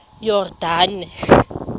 yordane